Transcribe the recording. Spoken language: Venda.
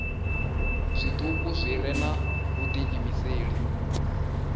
zwituku zwi re na vhudiimeseli